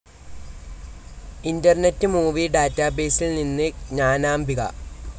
internet movie ഡാറ്റാബേസിൽ നിന്ന് ജ്ഞാനാംബിക